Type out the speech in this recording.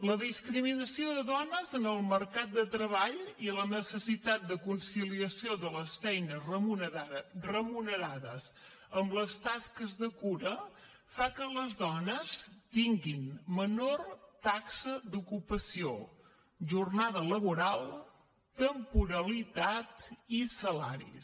la discriminació de dones en el mercat de treball i la necessitat de conciliació de les feines remunerades amb les tasques de cura fan que les dones tinguin menor taxa d’ocupació menor jornada laboral major temporalitat i menors salaris